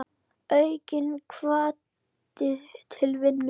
Aukinn hvati til vinnu.